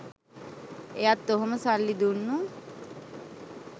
එයත් ඔහොම සල්ලි දුන්නු